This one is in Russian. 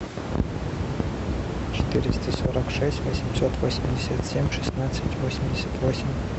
четыреста сорок шесть восемьсот восемьдесят семь шестнадцать восемьдесят восемь